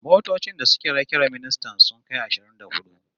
Motocin da ke rakiyar ministan sun kai ashirin da hudu